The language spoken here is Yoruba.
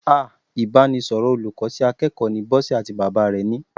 Ah! Ìbánisọ̀rọ̀ olùkọ́ sí akẹ́kọ̀ọ́ ni Bọ́sẹ̀ àti bàbá rẹ̀ ni.